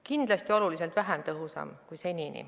Kindlasti oluliselt vähem tõhus kui seni.